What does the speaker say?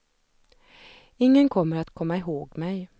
Ingen kommer att komma ihåg mig.